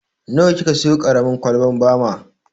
Nawa ki ka siyo ƙaramin kwalbar bama?